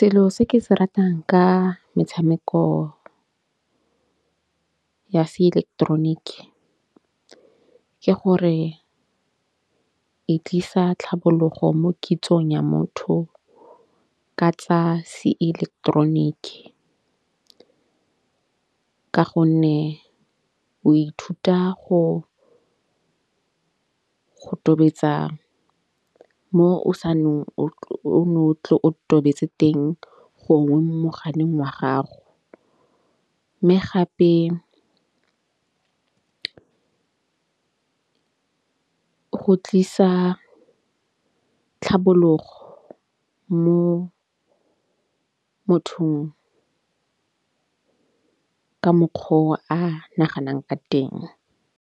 Selo se ke se ratang ka metshameko ya seileketeroniki ke gore e tlisa tlhabologo mo kitsong ya motho ka tsa seileketeroniki. Ka gonne o ithuta go tobetsa mo o saennong o tle o tobetse teng gongwe mo mogaleng wa gago. Mme gape go tlisa tlhabologo mo mothong ka mokgo o a naganang ka teng.